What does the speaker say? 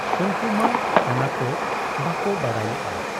ᱩᱱᱠᱩ ᱢᱟ ᱚᱱᱟᱠᱚ ᱵᱟᱠᱚ ᱵᱟᱰᱟᱭ ᱞᱮᱜ ᱟ ᱾